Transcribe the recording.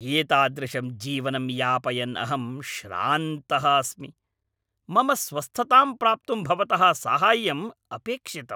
एतादृशं जीवनं यापयन् अहं श्रान्तः अस्मि। मम स्वस्थतां प्राप्तुं भवतः साहाय्यं अपेक्षितम्!